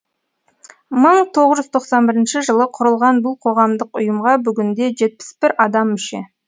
мың тоғыз жүз тоқсан бірінші жылы құрылған бұл қоғамдық ұйымға бүгінде жетпіс бір адам мүше